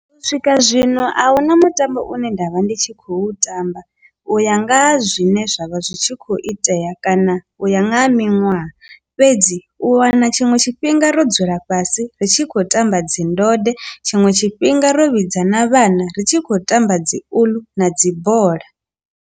U swika zwino a huna mutambo une nda vha ndi tshi khou tamba u ya nga ha zwine zwavha zwi tshi khou itea kana u ya nga ha miṅwaha, fhedzi u wana tshiṅwe tshifhinga ro dzula fhasi ri tshi khou tamba dzi ndode tshiṅwe tshifhinga ro vhidza na vhana ri tshi khou tamba dzi uḽu na dzi bola.